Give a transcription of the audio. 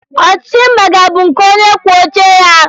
Ọchịchị mba gị a bụ nke onyekwuouche ya?